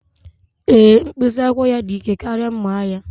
Ee, mkpịsị akwụkwọ ya dị ike karịa mma agha.